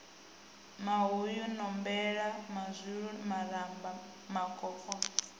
mahuyu nombelo mazwilu maramba makoloko